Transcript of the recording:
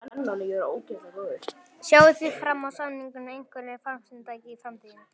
Sjáið þið fram á sameiningar við einhver fjarskiptafyrirtæki í framtíðinni?